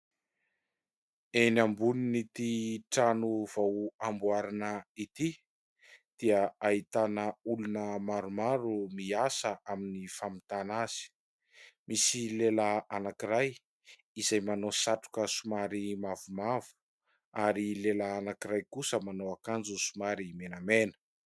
Eny ambonin'ity trano vao amboarina ity dia ahitana olona maromaro miasa amin'ny famitana azy. Misy lehilahy anankiray izay manao satroka somary mavomavo ary lehilahy anankiray kosa manao akanjo somary menamena.